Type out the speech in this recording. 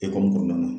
Ekɔli kɔnɔna na